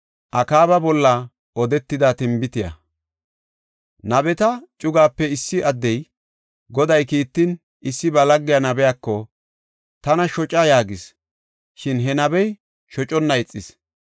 Nabeta cugaape issi addey, Goday kiittin, issi ba lagge nabiyako, “Tana shoca” yaagis; shin he nabey shoconna ixis.